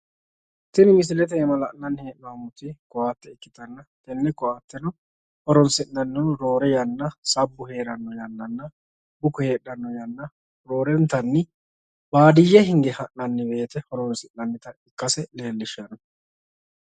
Tini misilete iima la'nanni hee'nommoti ko"atte ikkitanna tenne ko"atteno horonsi'nannihu roore yanna sabbu heeranno yannanna buko heedhanno yanna roorenkanni baadiyye hinge ha'nanni woyiite horonsi'nannita ikkase leellishshanno